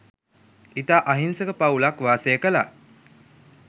ඉතා අහිංසක පවුලක් වාසය කළා.